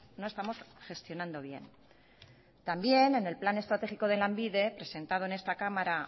no estamos gestionando bien también en el plan estratégico de lanbide presentado en esta cámara